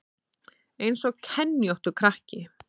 Eins og kenjóttur krakki